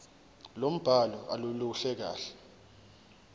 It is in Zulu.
lombhalo aluluhle kahle